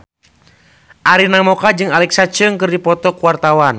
Arina Mocca jeung Alexa Chung keur dipoto ku wartawan